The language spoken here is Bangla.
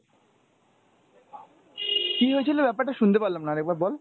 কি হয়েছিল ব্যাপারটা শুনতে পারলাম না আরেকবার বল।